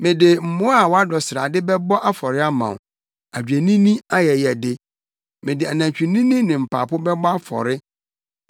Mede mmoa a wɔadɔ srade bɛbɔ afɔre ama wo; adwennini ayɛyɛde; mede anantwinini ne mpapo bɛbɔ afɔre.